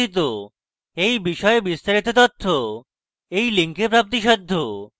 এই বিষয়ে বিস্তারিত তথ্য এই link প্রাপ্তিসাধ্য